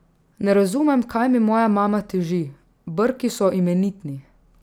Ne razumem, kaj mi moja mama teži, brki so imenitni.